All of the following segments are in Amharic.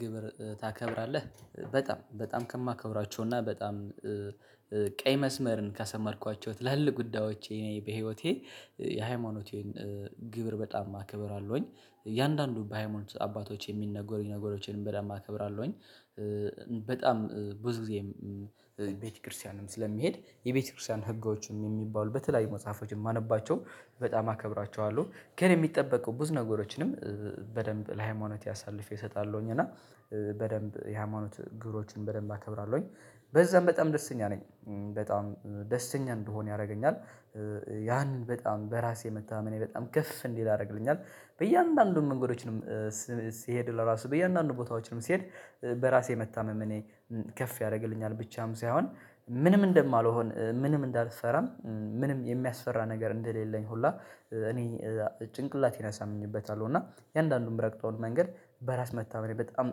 ግብር ታከብራለህ በጣም በጣም ከማከብራቸውና በጣም ቀይ መስመርን ካሰመርኳቸው ትላልቅ ጉዳዮቼ እኔ በህይወቴ የሃይማኖቴን ግብር በጣም አክብርለሁኝ እያንዳንዱ በሃይማኖት አባቶች የሚነጎሩኝ ነገሮችን በደንብ አከብራለሁኝ። በጣም ብዙ ጊዜም ቤተክርስቲያንም ስለሚሄድ የቤተክርስቲያን ህጎችም የሚባሉ በተለያዩ መጽሐፎችን ማነባቸው በጣም አከብራቸዋለሁ። ግን የሚጠበቀው ብዙ ነገሮችንም በደንብ ለሃይማኖት ያሳልፌ እሰጣለሁኝ። እና በደንብ የሃይማኖት ግብሮችን በደንብ አከብራለሁኝ። በዛም በጣም ደስተኛ ነኝ! በጣም ደስተኛ እንድሆን ያደርገኛል። ያንን በጣም በራሴ መታመኔ በጣም ክፍ እንዲህ ያደርግልኛል። በእያንዳንዱን መንገዶችንም ስሄድ ለራሱ በእያንዳንዱ ቦታዎችንም ስሄድ በራሴ መታመም እኔ ከፍ ያደርግልኛል። ብቻም ሳይሆን ምንም እንደማልሆን ምንም እንዳልሰራም ምንም የሚያስፈራ ነገር እንደሌለኝ። ሁላ እኔ ጭንቅላት ይነሳኝበታለሁ። እና የእያንዳንዱን የምረግጠውን መንገድ በራስ መታመኔ በጣም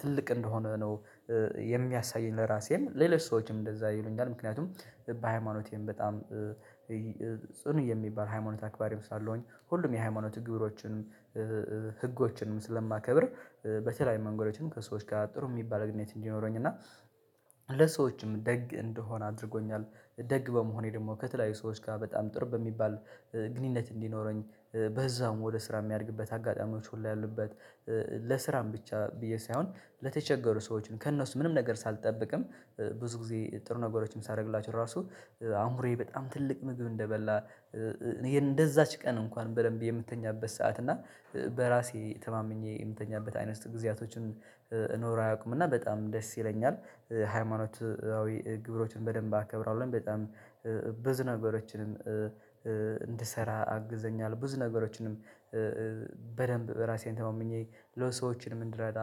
ትልቅ እንደሆነ ነው። የሚያሳየኝ ለራሴም ሌሎች ሰዎችም እንደዛ ይሉኛል። ምክንያቱም በሃይማኖቴም በጣም ጽኑ የሚባል ሃይማኖት አክባር ስላለሁኝ ሁሉም የሃይማኖት ግብሮችን ህጎችንም ስለማከብር በተለያይ መንገዶችን ከሰዎች ጋር ጥሩ የሚባል ግንኙት እንዲኖረኝ እና ለሰዎችም ደግ እንደሆነ አድርጎኛል። ደግ በመሆኔ ደግሞ ከተለያዩ ሰዎች ጋር በጣም ጥሩ በሚባል ግንኙነት እንዲኖረኝ በዛውም ወደ ስራ የሚያደርግበት አጋጣሚዎች ሁሉ ያሉበት ለስራም ብቻ ብዬ ሳይሆን ለተቸገሩ ሰዎችን ከእነሱ ምንም ነገር ሳልጠብቅም ብዙ ጊዜ ጥሩ ነገሮችን ሳደርግላችሁ ራሱ አምሮዬ በጣም ትልቅ ምግብ እንደበላ እንደዛች ቀን እንኳን በደንብ የምትተኛበት ሰዓት እና በራሴ ተማምኜ የምተኛበት አይነት ጊዜያቶችን ኖረ አያውቁም። እና በጣም ደስ ይለኛል! ሃይማኖት አዊ ግብሮችን በደንብ አከብራለሁኝ። በጣም ብዙ ነገሮችንም እንድሰራ አግዞኛል ብዙ ነገሮችንም በደንብ በራሴን ተመምኜ ለሰዎችንም እንድረዳ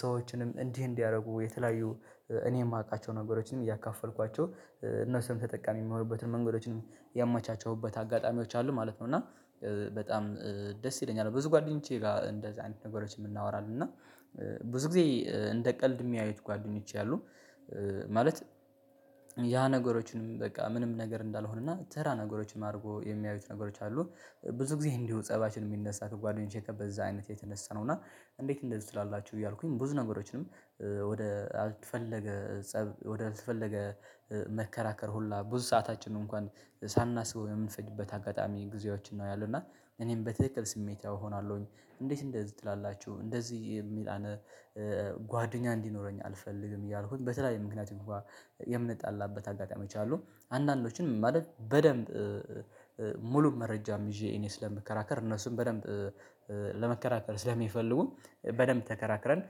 ሰዎችንም እንዲህ እንዲህ እንዲያደርጉ የተለያዩ እኔ የማውቃቸው ነገሮችንም እያካፈልኳቸው። እነሱም ተጠቃሚ የሚሞሩበትን መንገዶችንም ያመቻቸውበት አጋጣሚዎች አሉ ማለት ነው። እና በጣም ደስ ይለኛል! ብዙ ጓደኞቼ ጋር እንደዚህ አይነት ነገሮችን የምናወራለን እና ብዙ ጊዜ እንደ ቀልድ የሚያዩት ጓደኞቼ አሉ ማለት ያ ነገሮችንም በቃ ምንም ነገር እንዳልሆነና ተራ ነገሮችንም አድርጎ የሚያዩት ነገሮች አሉ ብዙ ጊዜ እንዲሁ ፀባችን የሚነሳት ጓደኞቼ ከበዛ አይነት የተነሳ ነው። እና እንዴት እንደዚህ ትላላችሁ እያልኩኝ ብዙ ነገሮችንም ወደ አልተፈለገ ፀብ ወደ አልተፈለገ መከራከር ሁላ ብዙ ሰዓታችን ነው እንኳን ሳናስበው የምንፈጅበት አጋጣሚ ጊዜያችን ነው። ያለው እና እኔም በትክክል ስሜታዊ እሆናለሁኝ እንዴት እንደዚህ ትላላችሁ እንደዚህ የሚል አነ ጓደኛ እንዲኖረኝ አልፈልግም። እያልኩት በተለይ ምክንያቱም እንኳን የምንጣላበት አጋጣሚ አሉ አንዳንዶችን ምን ማለት በደንብ ሙሉ መረጃም ይዤ እኔ ስለምከራከር እነሱን በደንብ ለመከራከር ስለሚፈልጉ በደንብ ተከራክረን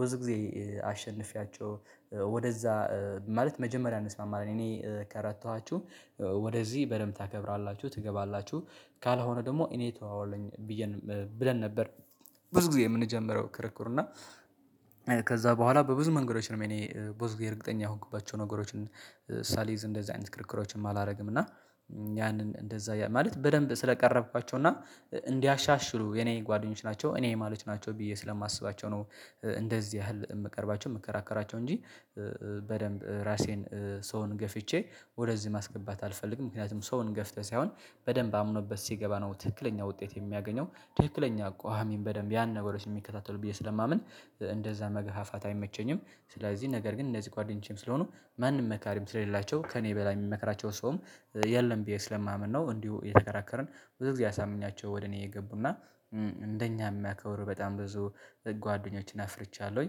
ብዙ ጊዜ አሸንፌያቸው። ወደዛ ማለት መጀመሪያ እንስማማለን እኔ ከረታኋችሁ ወደዚህ በደንብ ታከብራላችሁ ትገባላችሁ ካልሆነ ደግሞ እኔ ተዋዋለኝ ብዬ ብለን ነበር። ብዙ ጊዜ የምንጀምረው ክርክር እና ከዛ በኋላ በብዙ መንገዶች ነው እኔ በብዙ ጊዜ እርግጠኛ የሆንኩባቸው ነገሮችን ሳሊዝ እንደዚህ አይነት ክርክሮችን አላደርግም። እና ያንን እንደዛ ማለት በደንብ ስለቀረብኳቸው እና እንዲያሻሽሉ የኔ ጓደኞች ናቸው እኔ የማሎች ናቸው ብዬ ስለማስባቸው ነው እንደዚህ ያህል የምቀርባቸው የምከራከራቸው እንጂ በደንብ ራሴን ሰውን ገፍቼ ወደዚህ ማስገባት አልፈልግም። ምክንያቱም ሰውን ገፍተህ ሳይሆን በደንብ አምኖበት ሲገባ ነው ትክክለኛ ውጤት የሚያገኘው። ትክክለኛ እኮ አሚን በደንብ ያን ነገሮችን የሚከታተሉ ብዬ ስለማምን እንደዛ መገፋፋት አይመቸኝም። ስለዚህ ነገር ግን እንደዚህ ጓደኞቼም ስለሆኑ ማንም መካሪም ስለሌላቸው ከእኔ በላይ የሚመከራቸውን ሰውም የለም ብዬ ስለማምን ነው። እንዲሁ የተከራከርን ብዙ ጊዜ ያሳምኛቸው ወደ እኔ የገቡና እንደኛ የሚያከብሩ በጣም ብዙ ጓደኞችን አፍርቻለሁኝ።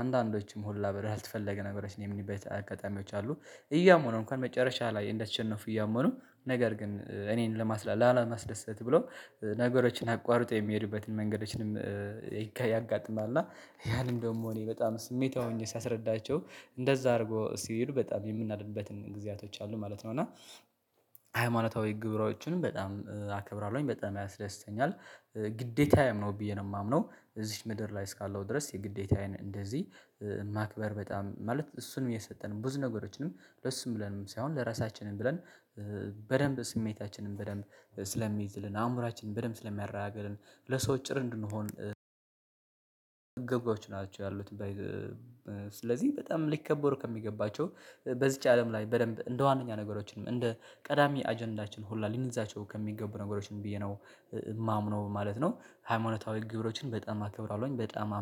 አንዳንዶችም ሁላ ብር ያልተፈለገ ነገሮች የምንቤት አጋጣሚዎች አሉ። እያመኑ እንኳን መጨረሻ ላይ እንደተሸነፉ እያመኑ ነገር ግን እኔን ለማስላ ላለማስደሰት ብሎ ነገሮችን አቋርጠው የሚሄዱበትን መንገዶችንም ያጋጥማል እና ያንን ደግሞ እኔ በጣም ስሜታዊ ሆኜ ሳስረዳቸው እንደዛ አድርጎ ሲሄዱ በጣም የምናደድበትን ጊዜያቶች አሉ ማለት ነው። እና ሃይማኖታዊ ግብሮቹንም በጣም አከብራለሁኝ። በጣም ያስደስተኛል። ግዴታዬም ነው ብዬ ነው የማምነው እዚች ምድር ላይ እስካለው ድረስ የግዴታዬን እንደዚህ ማክበር በጣም ማለት እሱንም የሰጠንም ብዙ ነገሮችንም ለሱም ብለንም ሳይሆን ለራሳችንም ብለን በደንብ ስሜታችንን በደንብ ስለሚይዝልን አእምሮአችንን በደንብ ስለሚያራግልን ለሰው ጭር እንድንሆን ግብቶች ናቸው ያሉት ስለዚህ በጣም ሊከበር ከሚገባቸው በዚች አለም ላይ በደንብ እንደ ዋነኛ ነገሮችንም እንደ ቀዳሚ አጀንዳችን ሁላ ሊንዛቸው ከሚገቡ ነገሮችን ብዬ ነው የማምነው ማለት ነው። ሃይማኖታዊ ግብሮችን በጣም አክብራለሁኝ። በጣም አምነው